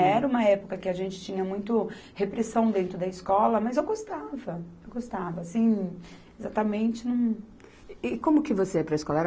Era uma época que a gente tinha muito repressão dentro da escola, mas eu gostava, eu gostava, assim, exatamente, não... E como que você ia para a escola?